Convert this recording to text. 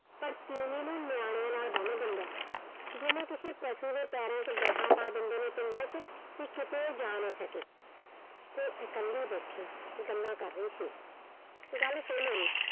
ਪਰ ਤੀਵੀਂ ਨੂੰ ਨਿਆਣਿਆਂ ਨਾਲ ਬੰਨ ਦਿੰਦਾ, ਜਿਵੇਂ ਕਿਸੇ ਪਸ਼ੂ ਦੇ ਪੈਰਾਂ ਚ ਪਾ ਦਿੰਦੇ ਨੇ ਪਿੰਡਾਂ ਚ ਤੇ ਕਿਤੇ ਉਹ ਜਾ ਨਾ ਸਕੇ। ਉਹ ਇਕੱਲੇ ਬੈਠੇ ਗੱਲਾਂ ਕਰ ਰਹੇ ਸੀ। ਗੱਲ ਸੁਣ ਮੇਰੀ